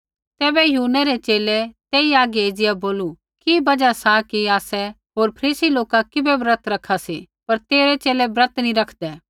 तैबै यूहन्नै रै च़ेले तेई हागै एज़िया बोलू कि बजहा सा कि आसै होर फरीसी लोका किबै ब्रत रखा सी पर तेरै च़ेले ब्रत नैंई रखदै